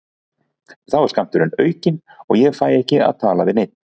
Þá er skammturinn aukinn og ég fæ ekki að tala við neinn.